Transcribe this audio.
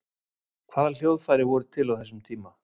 Hvaða hljóðfæri voru til á þessum tíma?